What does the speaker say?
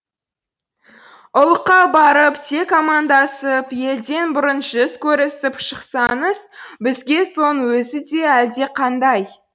ұлыққа барып тек амандасып елден бұрын жүз көрісіп шықсаңыз бізге соның өзі де әлдеқандай